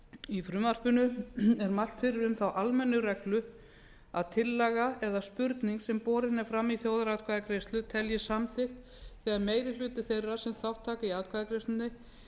í frumvarpinu er mælt fyrir um þá almennu reglu að tillaga eða spurning sem borin er fram í þjóðaratkvæðagreiðslu teljist samþykkt þegar meiri hluti þeirra sem þátt taka í atkvæðagreiðslunni